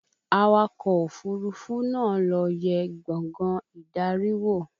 Awakọ̀ òfúrufú náà lọ yẹ gbàngán ìdarí wò